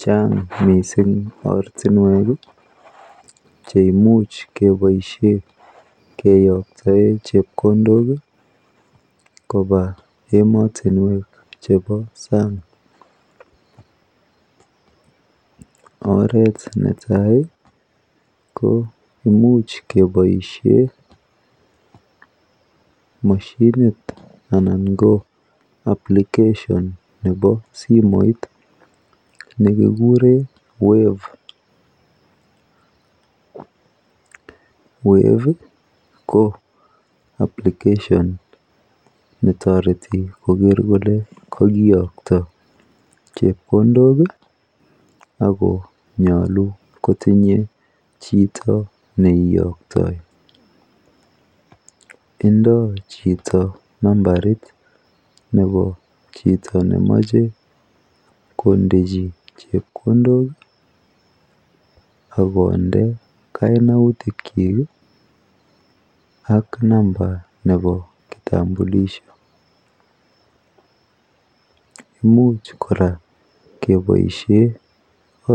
Chang' mising' ortinwek cheimuch kepoishen keyoktoe chepkondok kopa emotinwek chepo sang' oret netai ko imuch kepoishe moshinit anan ko application nepo simoit nekigure wave, wave ko application netoreti koger kole kagiyokto chepkondok ako nyolu kotinyei chito neiyoktoi indoi chito nambait nemache kondechi chepkondok akonde kaunautik chi ak namba nepo kitambulisho, much kora kepoishe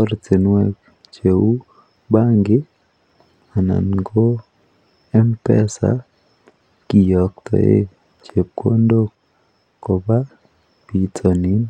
ortinwek cheu benkit anan ko Mpesa kiyoktoe chepkondok kopa pitonin.